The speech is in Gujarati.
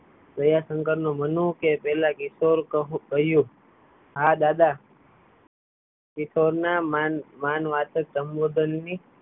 પ્રભાશંકર નું મનું કે પહલા કિશોર કહ્યું હા દાદા કિશોર ના માનવાચક સંભોધન ની